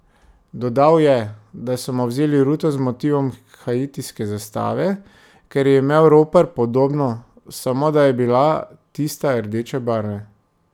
Dodal je, da so mu vzeli ruto z motivom haitijske zastave, ker je imel ropar podobno, samo, da je bila tista rdeče barve.